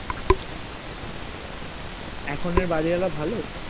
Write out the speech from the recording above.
এখন এ বাড়িওয়ালা ভালো